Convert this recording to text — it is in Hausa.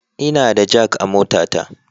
Ina da jak a motata